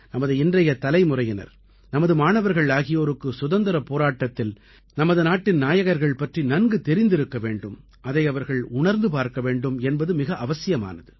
நமது இன்றைய தலைமுறையினர் நமது மாணவர்கள் ஆகியோருக்கு சுதந்திரப் போராட்டத்தில் நமது நாட்டின் நாயகர்கள் பற்றி நன்கு தெரிந்திருக்க வேண்டும் அதை அவர்கள் உணர்ந்து பார்க்க வேண்டும் என்பது மிக அவசியமானது